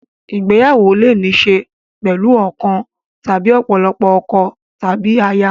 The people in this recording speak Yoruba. Ìgbéyàwó lè ní í ṣe pẹ̀lú ọ̀kan tàbí ọ̀pọ̀lọpọ̀ ọkọ tàbí aya.